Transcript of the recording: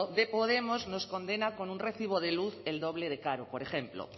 de podemos nos condena con un recibo de luz el doble de caro por ejemplo